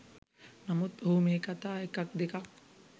නමුත් ඔහු මේ කතා එකක් දෙකක්